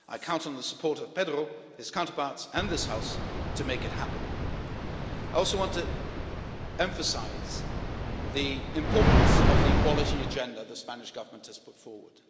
I count on the support of Pedro, his counterparts and this House to make it happen. I also want to emphasise the importance of the equality agenda the Spanish Government has put forward.